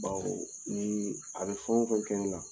Baw dɛɛ niii a bɛ fɛn o fɛn kɛ nɛ la